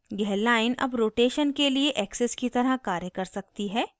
यह line अब rotation के लिए axis की तरह कार्य कर सकती है